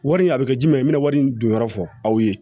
Wari in a bɛ kɛ jumɛn ye i bɛna wari in dun yɔrɔ fɔ aw ye